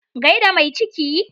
Gai da mai ciki.